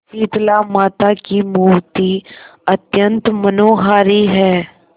शीतलामाता की मूर्ति अत्यंत मनोहारी है